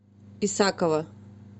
исакова